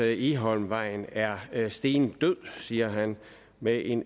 egholmvejen er er stendød siger han med en